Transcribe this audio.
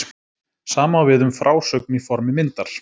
Sama á við um frásögn í formi myndar.